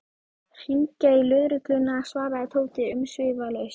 Hringja í lögregluna svaraði Tóti umsvifalaust.